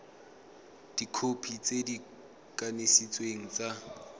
dikhopi tse di kanisitsweng tsa